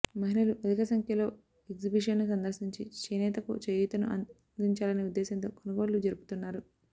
మహిళలు అధిక సంఖ్యలో ఎగ్జిబీషన్ను సందర్శించి చేనేతకు చేయూతను అందించాలనే ఉద్దేశ్యంతో కొనుగోళ్లు జరుపుతున్నారు